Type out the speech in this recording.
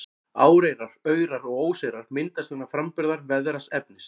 Áreyrar, aurar og óseyrar myndast vegna framburðar veðraðs efnis.